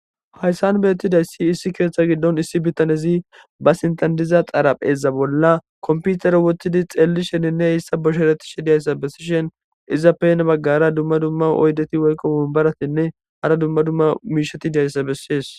Hayssan beettidayssi issi kieetha giddon issi bittanezi ba sintandiza xarapheza bolla komputer wottidi xeelli sheninne heyssa bushereti shi diyayssa bessishen izappena baggara dumma dumma oydeti weyqo wombaratinne hara dumma dumma miishati diyayssa bessees.